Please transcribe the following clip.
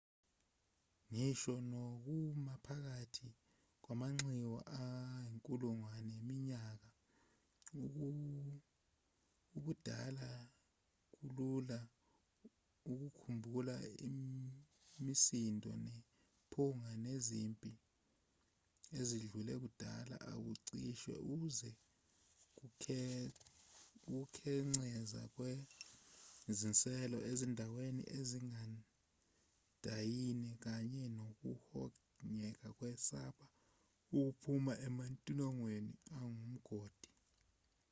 ngisho nokuma phakathi kwamanxiwa ayinkulungwane yeminyaka ubudala kulula ukukhumbula imisindo nephunga lezimpi ezidlule kudala ukucishe uzwe ukukhenceza kwezinselo ezindaweni ezigandayiwe kanye nokuhogela ukwesaba okuphuma ematilongweni angumgodi